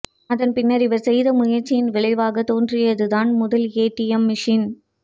அதன்பின்னர் இவர் செய்த முயற்சியின் விளைவாகத் தோன்றியதுதான் முதல் ஏடிஎம் மிஷின்